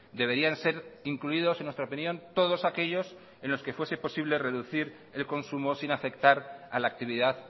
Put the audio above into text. deberían ser incluidos en nuestra opinión todos aquellos en los que fuese posible reducir el consumo sin afectar a la actividad